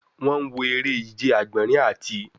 Wọn wọ ere-ije agbọnrin ati